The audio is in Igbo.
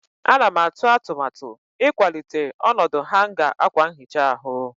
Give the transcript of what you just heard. Ana m atụ atụmatụ ịkwalite ọnọdụ hanga akwa nhicha ahụ.